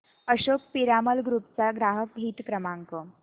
Ashok Piramal group चा ग्राहक हित क्रमांक